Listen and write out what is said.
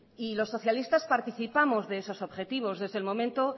y los socialistas participamos de esos objetivos desde el momento